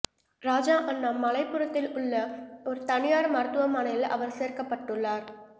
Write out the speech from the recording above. ராஜா அண்ணாமலைபுரத்தில் உள்ள ஒரு தனியார் மருத்துவமனையில் அவர் சேர்க்கப்பட்டுள்ளார்